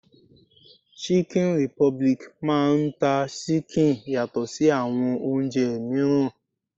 Chicken republic máà ń ta ṣíkìn yàtọ̀ sí àwọn oúnjẹ mìíràn.